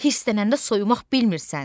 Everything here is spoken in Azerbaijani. Hıslənəndə soyumaq bilmirsən.